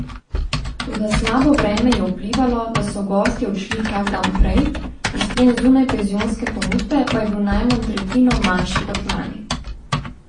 Toda slabo vreme je vplivalo, da so gostje odšli kak dan prej, izplen zunajpenzionske ponudbe pa je bil najmanj tretjino manjši kot lani.